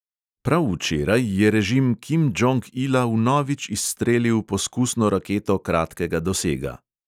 Prav včeraj je režim kim džong ila vnovič izstrelil poskusno raketo kratkega dosega.